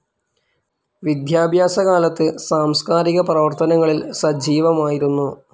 വിദ്യാഭ്യാസ കാലത്ത് സാംസ്കാരിക പ്രവർത്തനങ്ങളിൽ സജീവമായിരുന്നു.